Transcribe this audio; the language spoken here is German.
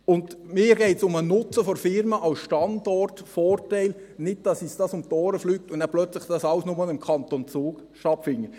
Mir geht es um den Nutzen für die Firma als Standortvorteil, nicht, dass uns das um die Ohren fliegt und das alles dann nur noch im Kanton Zug stattfindet.